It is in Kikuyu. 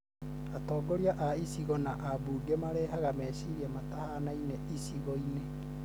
atongoria a icigo na ambunge marehaga meciria matahanaine icigoinĩ